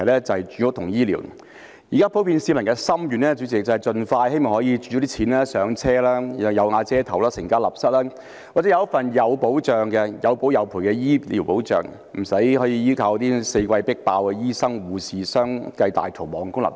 主席，現在普遍市民的心願是希望有足夠儲蓄可以盡快"上車"，有瓦遮頭，成家立室，或者有一份有保有賠的醫療保障，不需要依靠四季"迫爆"、醫生護士相繼大逃亡的公立醫院。